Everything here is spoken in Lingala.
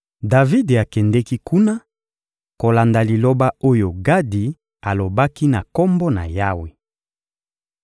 Davidi akendeki kuna kolanda liloba oyo Gadi alobaki na Kombo na Yawe.